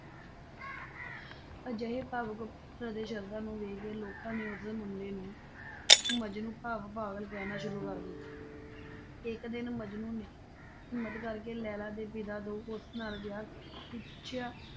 ਅਜਿਹੇ ਭਾਵੁਕ ਪਿਆਰ ਅਤੇ ਸ਼ਰਧਾ ਨੂੰ ਵੇਖ ਕੇ ਲੋਕਾਂ ਨੇ ਉਸ ਮੁੰਡੇ ਨੂੰ ਮਜਨੂੰ ਭਾਵ ਪਾਗਲ ਕਹਿਣਾ ਸ਼ੁਰੂ ਕਰ ਦਿੱਤਾ ਇੱਕ ਦਿਨ ਮਜਨੂੰ ਨੇ ਹਿੰਮਤ ਕਰਕੇ ਲੈਲਾ ਦੇ ਪਿਤਾ ਤੋਂ ਉਸ ਨਾਲ ਵਿਆਹ ਕਰਨ ਲਈ ਪੁੱਛਿਆ,